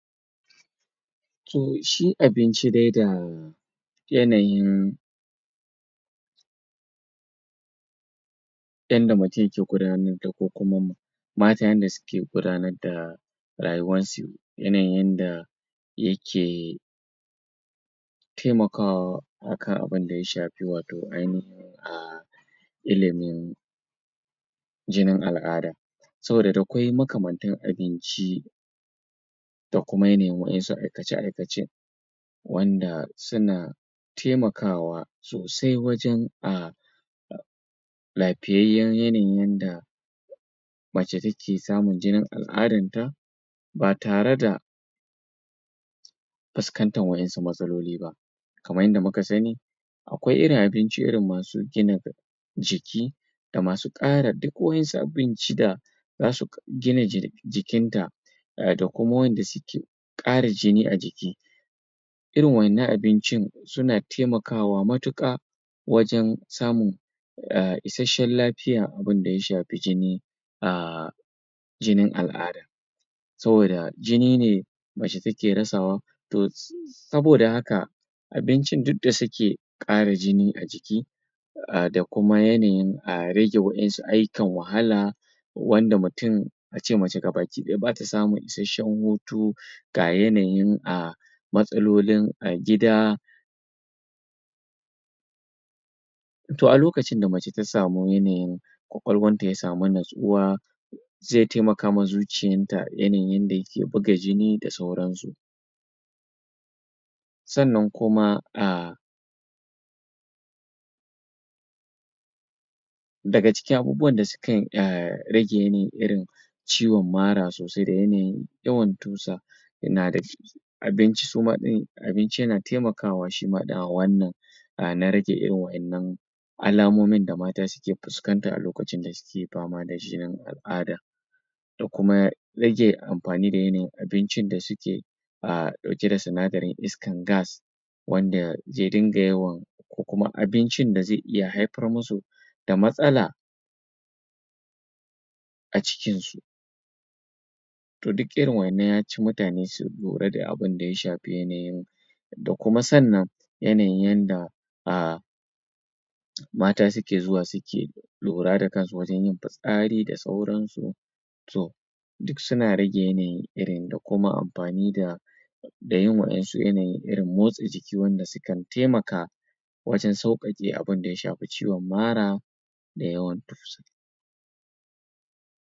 to shi abinci dai da yanayin um yanda mutum yake gudanar da ko kuma matayen da suke gudanar da rayuwansu yanayin yanda yake taimakawa akan abunda ya shafi wato ainahin ah ilimin jinin al'ada saboda dakwai makamantan abinci da kuma yana yin wasu aikace aikace wanda suna taimakawa sosai wajan um lafiyayyan yanayin yanda mace take samun jinin al'adanta ba tare da fuskantan waƴansu matsaloli ba kaman yanda muka sani akwai irin abinci irin masu gina jiki da masu ƙara duk waƴensu abinci da zasu gina jikin ta da kuma wanda suke ƙara jini a jiki irin waƴannan abincin suna taimakawa matuƙa wajan samun ah isashshen lafiya abinda ya shafi jini um jinin al'ada saboda jini ne mace take rasawa to um saboda haka abincin da duk da suke ƙara jini a jiki da kuma yanayin a rage wasu ayyukan wahala wanda mutum ace mace baki ɗaya bata samun ishashshean hutu ga yanayin um matsalolin gida to a lokacin da mace ta samu yanayin ƙwaƙwalwanta ya samu nutsuwa ze taimakawa zuciyanta yanayin yanda yake buga jini da sauran su sannan kuma ah daga cikin abubuwan da sukan um rage yanayi irin ciwon mara sosai da yanayin yawan tusa um abinci suma ɗin abinci yana kaimakawa shima ɗin a wannan na rage irin waƴannan alamomin da mata suke fukanta a lokacin da suke fama da jinin al'ada da kuma rage amfani da yanayin abincin da suke a suke ɗauke da sinadarin iskar gas wanda ze dinga yawan ko kuma abincin da ze iya haifar musu da matsala a cikin su to duk irin waƴannan yaci mutane su lura da abinda ya shafi yanayin da kuma sannan yanayin yanda um mata suke zuwa suke lura da kansu wajan yin fitsari da sauransu to duk suna raje yanayi irin da kuma amfani da da yin waƴansu yanayin irin motsa jiki wanda sukan taimaka wajan sauƙaƙe abinda ya shafi ciwon mara da yawan tusa